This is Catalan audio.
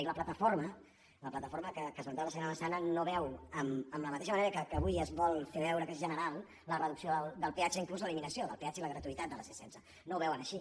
i la plataforma la platafor·ma que ha esmentat la senyora massana no veu amb la mateixa manera que avui es vol fer veure que és ge·neral la reducció del peatge inclús l’eliminació del pe·atge i la gratuïtat de la c·setze no ho veuen així